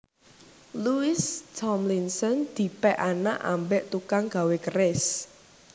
Louis Thomlinson dipek anak ambek tukang gawe keris